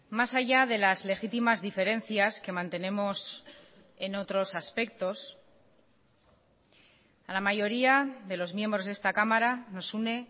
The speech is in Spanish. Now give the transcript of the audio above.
más allá de las legítimas diferencias que mantenemos en otros aspectos a la mayoría de los miembros de esta cámara nos une